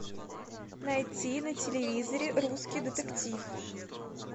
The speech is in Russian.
найти на телевизоре русский детектив